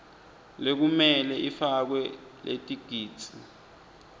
lekumele ifakwe letigidzi